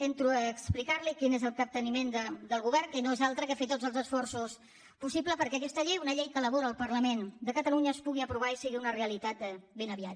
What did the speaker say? entro a explicar li quin és el capteniment del govern que no és altre que fer tots els esforços possibles perquè aquesta llei una llei que elabora el parlament de catalunya es pugui aprovar i sigui una realitat ben aviat